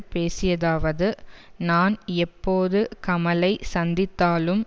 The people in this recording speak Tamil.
பேசியதாவது நான் எப்போது கமலை சந்தித்தாலும்